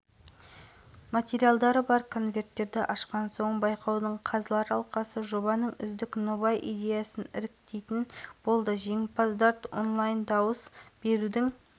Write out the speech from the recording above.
қызметін атқару патентін салтанатты түрде табыс етті сонымен қатар екі елдің өкілдері құрметті консул декларациясына